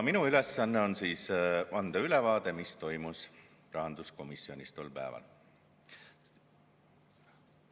Minu ülesanne on anda ülevaade, mis toimus rahanduskomisjonis tol päeval.